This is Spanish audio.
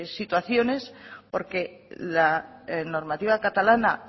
situaciones porque la normativa catalana